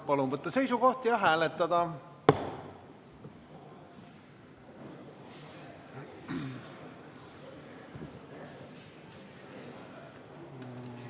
Palun võtta seisukoht ja hääletada!